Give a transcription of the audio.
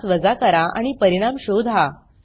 त्यास वजा करा आणि परिणाम शोधा